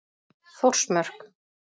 Þórsmörk